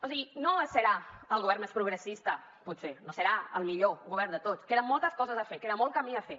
o sigui no serà el govern més progressista potser no serà el millor govern de tots queden moltes coses a fer queda molt camí a fer